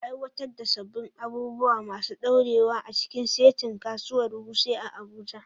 Aiwatar da sabbin abubuwa masu dorewa a cikin saitin Kasuwar Wuse a Abuja.